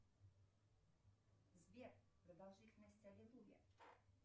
сбер продолжительность аллилуйя